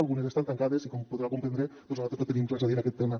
algunes estan tancades i com podrà comprendre nosaltres no tenim res a dir en aquest tema